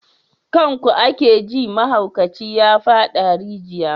Kan ku ake ji mahaukaci ya fada rijiya.